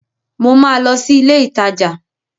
Mo ma lọ sí ilé ìtajà